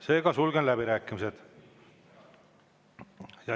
Seega sulgen läbirääkimised.